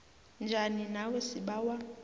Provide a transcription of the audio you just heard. njani nawe sibawa